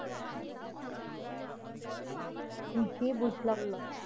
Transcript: জি বুঝলাম না